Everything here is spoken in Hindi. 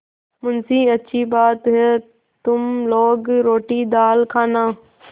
मुंशीअच्छी बात है तुम लोग रोटीदाल खाना